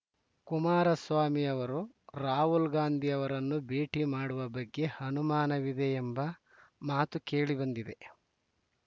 ಕುಮಾರಸ್ವಾಮಿ ಅವರು ರಾಹುಲ್‌ ಗಾಂಧಿ ಅವರನ್ನು ಭೇಟಿ ಮಾಡುವ ಬಗ್ಗೆ ಅನುಮಾನವಿದೆ ಎಂಬ ಮಾತೂ ಕೇಳಿಬಂದಿದೆ